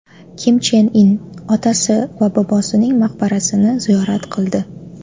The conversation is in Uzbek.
Kim Chen In otasi va bobosining maqbarasini ziyorat qildi.